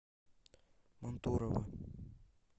мантурово